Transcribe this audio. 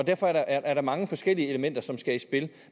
derfor er der mange forskellige elementer som skal i spil